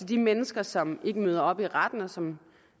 de mennesker som ikke møder op i retten og som